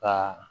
Ka